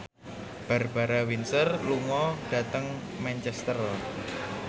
Barbara Windsor lunga dhateng Manchester